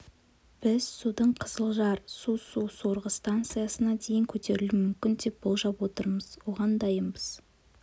біз судың қызылжар су су сорғы станциясына дейін көтерілуі мүмкін деп болжап отырмыз оған дайынбыз